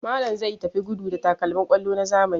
Malam zai tafi gudu da takalmin kwallo na zamani.